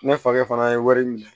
Ne fakɛ fana ye wari minɛ